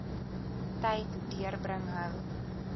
tyd deurbring hou